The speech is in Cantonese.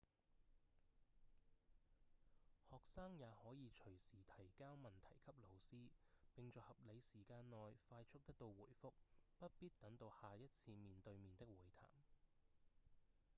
學生也可以隨時提交問題給老師並在合理時間內快速得到回覆不必等到下一次面對面的會談